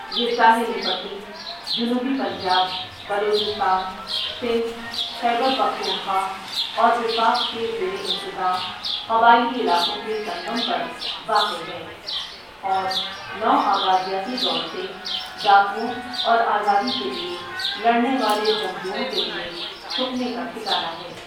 یہ ساحلی پٹی جنوبی پنجاب، بلوچستان، سندھ، خیبر پختونخوا اور وفاق کے زیر انتظام قبائلی علاقوں کے سنگم پر واقع ہے اور نوآبادیاتی دور سے ڈاکوؤں اور آزادی کے لیے لڑنے والے جنگجوؤں کے لیے چھپنے کا ٹھکانہ ہے ۔